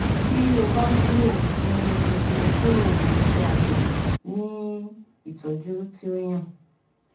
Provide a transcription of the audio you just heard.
Ti o ba nilo um imukuro ise-abe ni itọju ti o yan